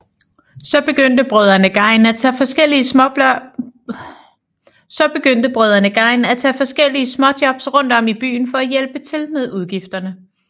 Så begyndte brødrene Gein at tage forskellige småjobs rundt om i byen for at hjælpe til med udgifterne